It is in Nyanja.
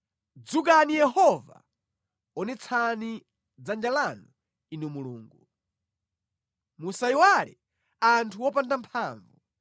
Dzukani Yehova! Onetsani dzanja lanu Inu Mulungu. Musayiwale anthu opanda mphamvu.